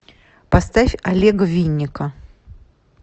поставь олега винника